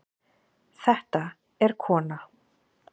Þetta er kona.